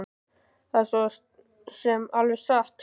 Það er svo sem alveg satt